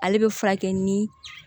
Ale bɛ furakɛ ni